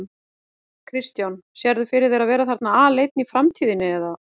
Kristján: Sérðu fyrir þér að vera þarna aleinn í framtíðinni eða?